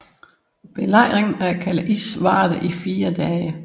Belejringen af Calais varede i fire dage